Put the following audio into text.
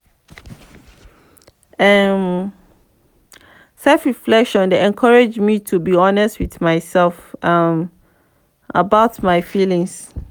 um self-reflection dey encourage me to be honest with myself um about my feelings.